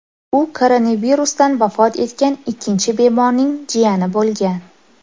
U koronavirusdan vafot etgan ikkinchi bemorning jiyani bo‘lgan .